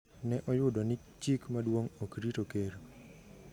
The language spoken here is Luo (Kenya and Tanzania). ne oyudo ni chik maduong’ ok rito Ker